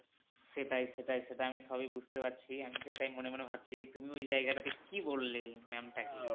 সেটাই সেটাই সেটাই আমি সবই বুঝতে পারছি আমি এটাই মনে মনে ভাবছি তুমি ওই জায়গা টা তে কী বললে ma'am টা কে